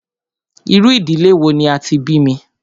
Irú ìdílé wò ní a tí bí mí?